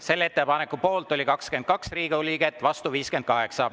Selle ettepaneku poolt oli 22 Riigikogu liiget, vastu 58.